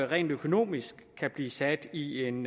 rent økonomisk blive sat i en